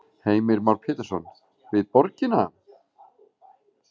Heimir Már Pétursson: Við borgina?